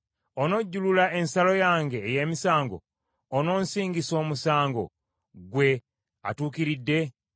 “Onojjulula ensala yange ey’emisango; ononsingisa omusango ggwe atuukiridde?